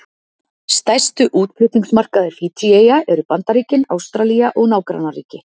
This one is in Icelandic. Stærstu útflutningsmarkaðir Fídjíeyja eru Bandaríkin, Ástralía og nágrannaríki.